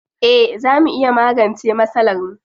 Eh zaa mu iya magance masalarmu.